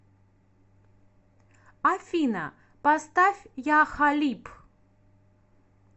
афина поставь я халиб